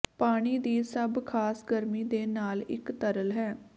ਪਾਣੀ ਦੀ ਸਭ ਖਾਸ ਗਰਮੀ ਦੇ ਨਾਲ ਇੱਕ ਤਰਲ ਹੈ